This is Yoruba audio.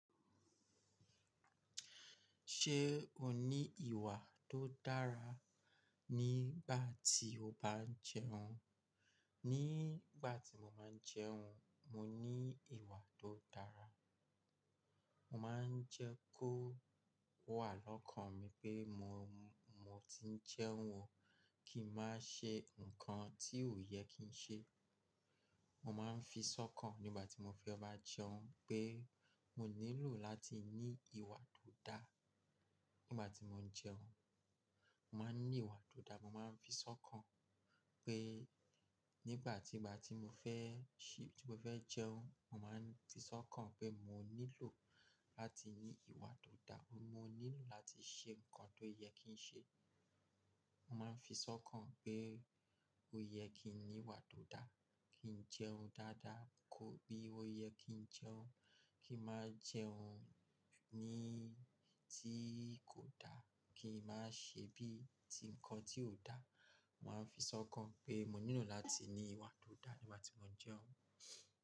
Ṣé o ní ìwà tó dára nígbà tí o bá ń jẹun? Nígbà tí mo máa ń jẹun, mo ní ìwà tó dára. Mo máa ń jẹ́ kó wà lọ́kàn mi pé mo, mo ti ń jẹun o kí n má ṣe nǹkan tí ò yẹ kí n ṣe. Mo máa ń fisọ́kàn nígbà tí mo fẹ́ bá jẹun pé mo nílò láti ní ìwà tó dá. Nígbà tí mo ń jẹun, mo máa ń ní ìwà tó dá. Mo máa ń fisọ́kàn pé nígbà tí, nígbà tí mo fẹ́, tí mo fẹ́ jẹun, mo máa ń fisọ́kàn pé mo nílò láti ní ìwà tó dá. Mo nílò láti ṣe nǹkan tó yẹ kí n ṣe. Mo máa ń fisọ́kàn pé ó yẹ kí n ní ìwà tó dá, kí n jẹun dáadáa, kó bí ó yẹ kí n jẹun. Kí n má jẹun ní tí kò dá, kí n má ṣe bí ti nǹkan tí ò dá. Mo máa ń fisọ́kàn pé mo nílò láti ní ìwà tó dá nígbà tí mo ń jẹun.